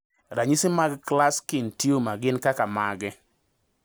Ranyisi mag Klatskin tumor gin kaka mage?